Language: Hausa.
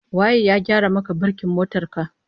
Waye ya gyara maka birkin motar ka?